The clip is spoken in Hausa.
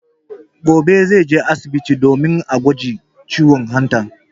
Gobe zai je asibiti don a mai gwajin ciwon hanta